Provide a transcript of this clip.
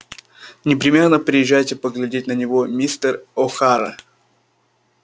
непременно приезжайте поглядеть на него мистер охара